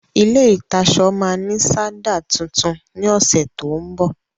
ilé ìtaṣọ ma ní sádà tuntun ní ọ̀sẹ̀ tó ń bọ̀.